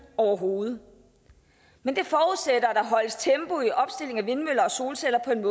overhovedet men det forudsætter at der holdes tempo i opstilling af vindmøller og solceller på den